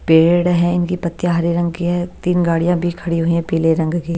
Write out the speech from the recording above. पेड़ हैं इनकी पत्तियां हरे रंग की हैं तीन गाड़ियाँ भी खड़ी हुई हैं पीले रंग की--